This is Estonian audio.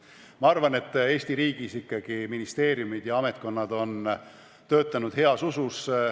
Ma arvan, et Eesti riigis ikkagi ministeeriumid ja ametkonnad on töötanud heas usus.